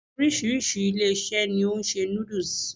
Oríṣiríṣi ilé-ìṣẹ́ ni o n se noodles